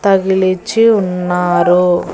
తగిలిచ్చి ఉన్నారు.